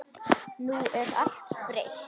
Nú er allt breytt.